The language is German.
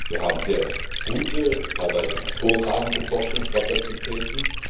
Wir haben sehr gute, teilweise hervorragende Forschungskapazitäten.